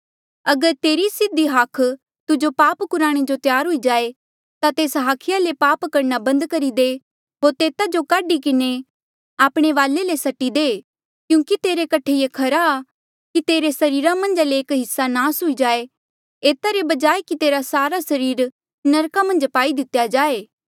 अगर तेरी सीधा हाख तुजो पाप कुराणे जो त्यार हुई जाए ता तेस हाखिया ले पाप करणा बंद करी दे होर तेता जो काढी किन्हें आपणे वाले ले सट्टी दे क्यूंकि तेरे कठे ये खरा की तेरे सरीरा मन्झ ले एक हिस्सा नास हुई जाये एता रे बजाय कि तेरा सारा सरीर नरका मन्झ पाई दितेया जाए